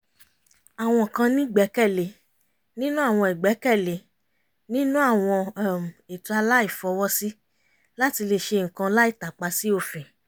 àwọn kan ní ìgbẹ́kẹ̀lé nínú àwọn ìgbẹ́kẹ̀lé nínú àwọn um ètò àìláfọwọ́sí láti lè ṣe nǹkan láì tàpa sí òfin